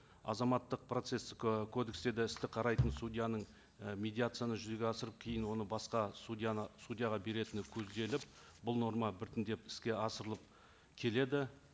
азаматтық процесстік і кодекстерде істі қарайтын судьяның і медиацияны жүзеге асырып кейін оны басқа судьяны судьяға беретіні көзделіп бұл норма біртіндеп іске асырылып келеді